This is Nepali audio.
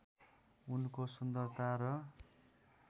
उनको सुन्दरता र